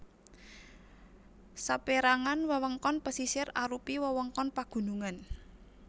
Saperangan wewengkon pesisir arupi wewengkon pagunungan